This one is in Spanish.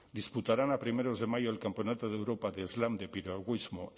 disputarán a primeros de mayo el campeonato de europa de slam de piragüismo